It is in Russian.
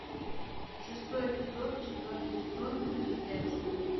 шестой эпизод четвертый сезон мультик декстер